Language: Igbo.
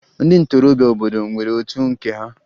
Ndị ntorobịa obodo nwere otu nke ha